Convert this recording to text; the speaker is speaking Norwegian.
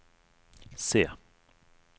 C